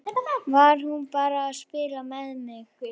Var hún bara að spila með mig?